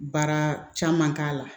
Baara caman k'a la